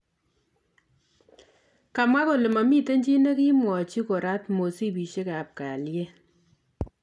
kamwa kole mamiten chii negimwachii korat mosibisiek ap kalieet